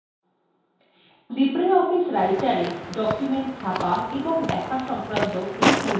libreoffice writerএ documents ছাপা এবং দেখা সংক্রান্ত tutorialএ আপনাদের স্বাগত জানাচ্ছি